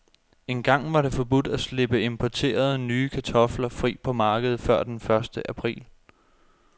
Engang var det forbudt at slippe importerede, nye kartofler fri på markedet før den første april.